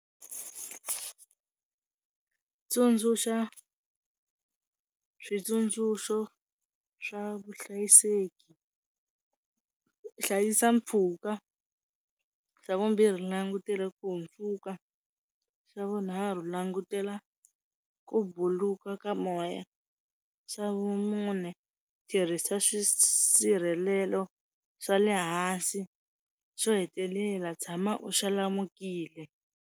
Tsundzuxa switsundzuxo swa vuhlayiseki, hlayisa mpfhuka Xa vumbirhi langutela ku hundzuka xa vunharhu langutela ku buluka ka moya. Xa vumune tirhisa swisirhelelo swa le hansi. Xo hetelela tshama u xalamukile.